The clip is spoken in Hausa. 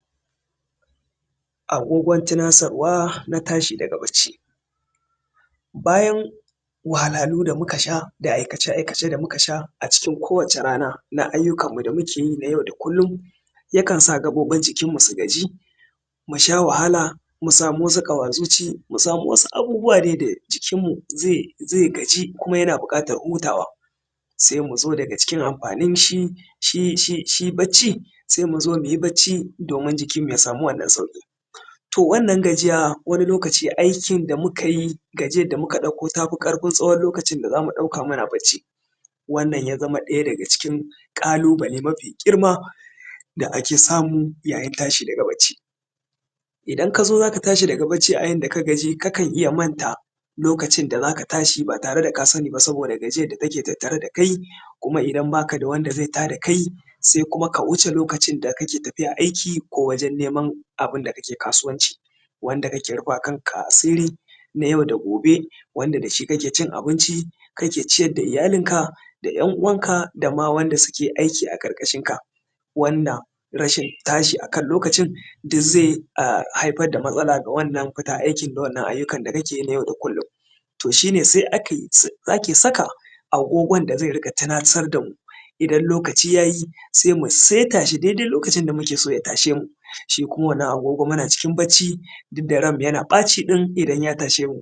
agogon tunasarwa na tashi daga bacci bayan wahalhalu da muka sha da aikace aikace da muka sha a cikin kowace rana na aiyyukan mu da muke yi na yau da kullum ya kansa gaɓoɓin mu su gaji mu sha wahala mu samu wasu ƙawa zuci mu samu dai wasu abubuwa dai da jikinmu zai gaji kuma muna buƙatan hutawa sai mu zo daga cikin amfanin shi bacci sai mu zo mu yi bacci domin jikin mu ya samu wannan sauƙi to wannan gajiya wani lokaci aikin da muka yi gajiyan da muka ɗauko ta fi ƙarfin tsawon lokacin da za mu ɗauka muna bacci wannan ya zama ɗaya daga cikin ƙalubale mafi girma da ake samu yayin tashi daga bacci idan ka zo za ka tashi daga bacci a yanda ka gaji kakan iya manta lokacin da za ka tashi ba tare da ka sani ba saboda gajiyan da take tare da kai kuma idan ba ka da wanda zai tada kai sai kuma ka wuce lokacin da kake tafiya aiki ko wajen neman abunda ka ke kasuwanci wanda ka ke rufa ma kanka asiri na yau da gobe wanda da shi ka ke cin abinci ka ke ciyar da iyalinka da ‘yan uwanka da ma wanda suke aiki a ƙarƙashinka wanda tashi a kan lokacin zai haifar da matsala ga wannan fita aiki da wannan aiyuka da ka ke yi na yau da kullum to shine sai ake saka agogon da zai riƙa tunasar da mu idan lokaci ya yi sai mu saita shi dai dai lokacin da muke so ya tashe mu shi kuma wannan agogo muna cikin bacci duk da ranmu yana ɓaci ɗin idan ya tashe mu